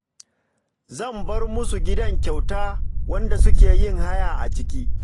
Zan bar musu gidana kyauta wanda suke yin haya a ciki